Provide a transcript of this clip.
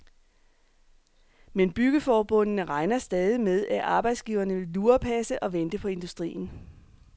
Men byggeforbundene regner stadig med, at arbejdsgiverne vil lurepasse og vente på industrien.